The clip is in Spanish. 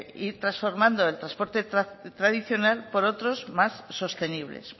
ir transformando el transporte tradicional por otros más sostenibles